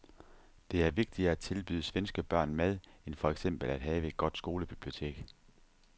Det er vigtigere at tilbyde svenske børn mad end for eksempel at have et godt skolebibliotek.